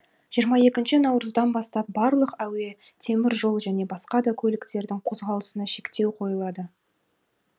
жиырма екінші наурыздан бастап барлық әуе темір жол және басқа да көліктердің қозғалысына шектеу қойылады